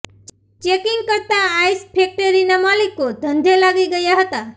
checking કરતાં ice ફેકટરીના માલિકો ધંધે લાગી ગયા હતા